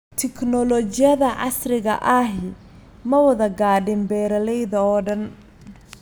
Tignoolajiyada casriga ahi ma wada gaadhin beeralayda oo dhan.